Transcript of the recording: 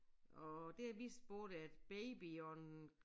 Og det er vist både at baby og en